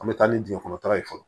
An bɛ taa ni dingɛ kɔnɔ ye fɔlɔ